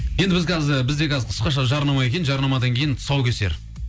енді біз қазір бізде қазір қысқаша жарнама екен жарнамадан кейін тұсаукесер